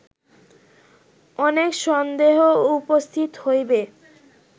অনেক সন্দেহ উপস্থিত হইবে